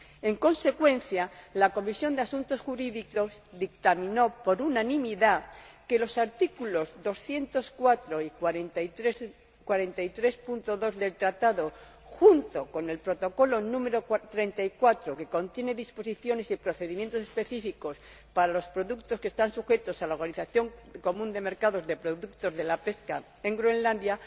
En consecuencia, la Comisión de Asuntos Jurídicos dictaminó por unanimidad que los artículos 204 y 43, apartado 2, del Tratado, junto con el Protocolo nº 34, que contiene disposiciones y procedimientos específicos para los productos que están sujetos a la Organización Común de Mercados de productos de la pesca en Groenlandia,